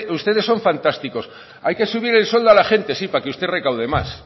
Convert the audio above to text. ustedes son fantásticos hay que subir el sueldo a la gente sí para que usted recaude más